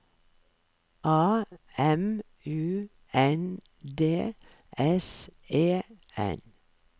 A M U N D S E N